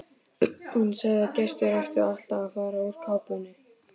Hún sagði að gestir ættu alltaf að fara úr kápunni.